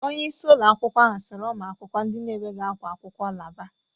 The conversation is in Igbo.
Onyeisi ụlọakwụkwọ ahụ siri ụmụakwụkwọ ndị na-enweghị ákwá akwụkwọ laaba.